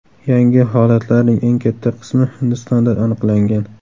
Yangi holatlarning eng katta qismi Hindistonda aniqlangan.